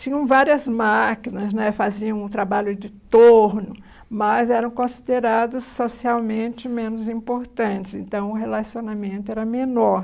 Tinham várias máquinas né , faziam um trabalho de torno, mas eram considerados socialmente menos importantes, então o relacionamento era menor.